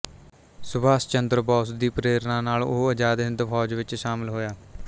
ਸੁਭਾਸ਼ ਚੰਦਰ ਬੋਸ ਦੀ ਪ੍ਰੇਰਨਾ ਨਾਲ ਉਹ ਆਜ਼ਾਦ ਹਿੰਦ ਫੌਜ ਵਿੱਚ ਸ਼ਾਮਿਲ ਹੋਇਆ